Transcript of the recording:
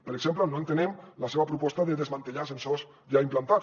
per exemple no entenem la seva proposta de desmantellar sensors ja implantats